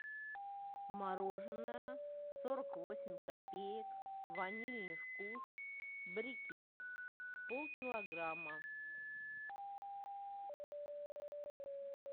мороженное сорок восемь копеек ванильный вкус брикет пол килограмма